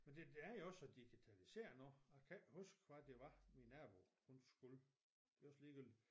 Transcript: Men det er jo også så digitaliseret nu og jeg kan ikke huske hvad det var min nabo hun skulle det også ligegyldig